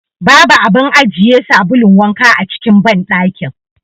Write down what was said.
Babu abun ajiye sabulun wanka a cikin banɗakin.